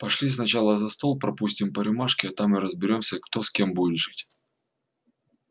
пошли сначала за стол пропустим по рюмашке а там и разберёмся кто с кем будет жить